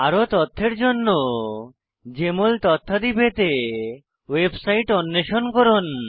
আরো তথ্যের জন্য জেএমএল তথ্যাদি পেতে ওয়েবসাইট অন্বেষণ করুন